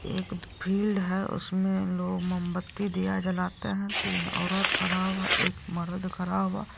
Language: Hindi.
एक फील्ड है उसमे लोग मोमबत्ती दिया जलाते है तीन औरत खड़ा हुआ एक मरद खड़ा हुआ।